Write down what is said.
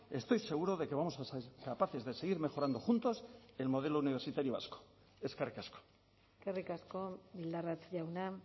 estoy seguro de que vamos a ser capaces de seguir mejorando juntos el modelo universitario vasco eskerrik asko eskerrik asko bildarratz jauna